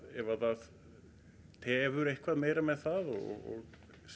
ef það tefur meira með það og